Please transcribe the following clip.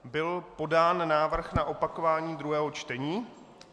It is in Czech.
Byl podán návrh na opakování druhého čtení.